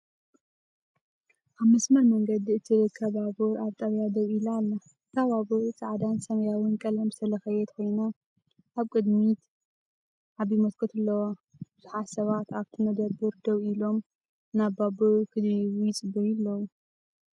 ኣብ መስመር መንገዲ እትርከብ ባቡር ኣብ ጣብያ ደው ኢላ ኣላ። እታ ባቡር ጻዕዳን ሰማያውን ቀለም ዝተለኽየት ኮይና፡ ኣብ ቅድሚት ዓቢ መስኮት ኣለዋ። ብዙሓት ሰባት ኣብቲ መደበር ደው ኢሎም፡ ናብ ባቡር ክድይቡ ይጽበዩ ኣለዉ።